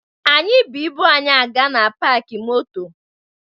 Anyị bu ibu anyị aga na paakị moto